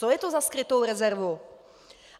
Co je to za skrytou rezervu?